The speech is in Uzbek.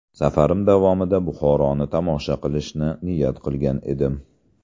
Safarim davomida Buxoroni tomosha qilishni niyat qilgan edim.